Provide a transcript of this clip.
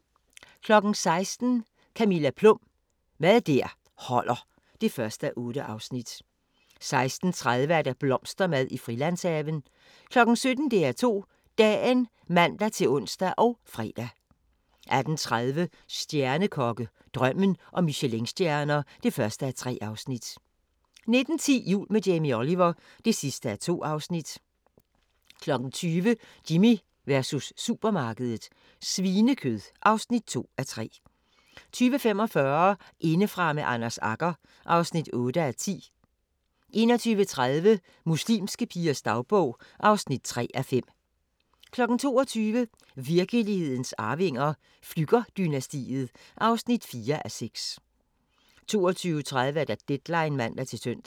16:00: Camilla Plum – Mad der holder (1:8) 16:30: Blomstermad i Frilandshaven 17:00: DR2 Dagen (man-ons og fre) 18:30: Stjernekokke – Drømmen om Michelinstjerner (1:3) 19:10: Jul med Jamie Oliver (2:2) 20:00: Jimmy versus supermarkedet - svinekød (2:3) 20:45: Indefra med Anders Agger (8:10) 21:30: Muslimske pigers dagbog (3:5) 22:00: Virkelighedens Arvinger: Flügger-dynastiet (4:6) 22:30: Deadline (man-søn)